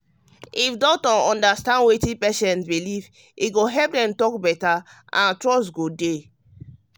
if doctor understand wetin patient believe e go help dem talk better and trust go dey.